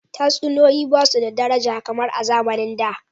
Tatsuniyoyi ba su da daraja kamar a zamanin da.